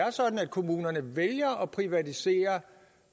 er sådan at kommunerne vælger at privatisere